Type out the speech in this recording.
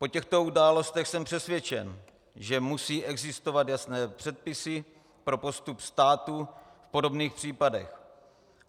Po těchto událostech jsem přesvědčen, že musí existovat jasné předpisy pro postup státu v podobných případech.